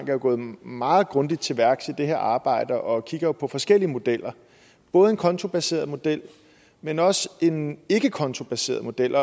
jo gået meget grundigt til værks i det her arbejde og kigger på forskellige modeller både en kontobaseret model men også en ikkekontobaseret model